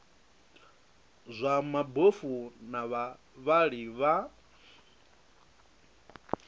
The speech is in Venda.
zwa mabofu na vhavhali vha